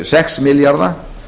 sex milljarða